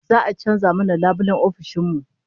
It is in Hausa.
Za'a canza mana labulayen ofishin mu